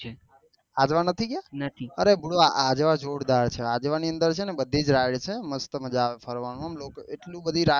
આજવા નથી ગયા અરે આજવા જોરદાર છે અજવા ની અંદર છે ને બધી જ રાય્ડ છે મસ્ત મજા આવે છે ફરવાનું એટલે બધી રાય્ડ આવે ને